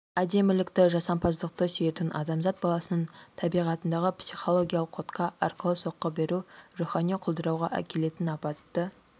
әдемілікті жасампаздықты сүйетін адамзат баласының табиғатындағы психологиялық кодқа арқылы соққы беру рухани құлдырауға әкелетін апатты